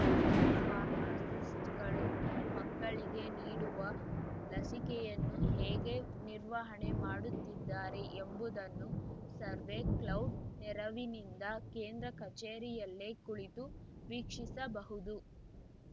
ಫಾರ್ಮಾಸಿಸ್ಟ್‌ಗಳು ಮಕ್ಕಳಿಗೆ ನೀಡುವ ಲಸಿಕೆಯನ್ನು ಹೇಗೆ ನಿರ್ವಹಣೆ ಮಾಡುತ್ತಿದ್ದಾರೆ ಎಂಬುದನ್ನು ಸರ್ವೆ ಕ್ಲೌಡ್‌ ನೆರವಿನಿಂದ ಕೇಂದ್ರ ಕಚೇರಿಯಲ್ಲೇ ಕುಳಿತು ವೀಕ್ಷಿಸಬಹುದು